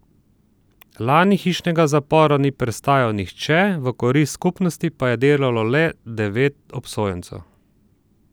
Lani hišnega zapora ni prestajal nihče, v korist skupnosti pa je delalo le devet obsojencev.